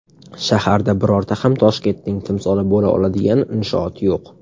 Shaharda birorta ham Toshkentning timsoli bo‘la oladigan inshoot yo‘q.